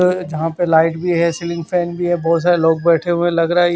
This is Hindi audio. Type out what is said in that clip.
अ जहां पे लाइट भी है सीलिंग फैन भी है बहुत सारे लोग बैठे हुए है लगरा --